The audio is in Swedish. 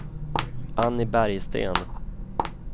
Annie Bergsten